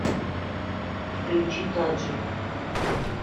включи таджа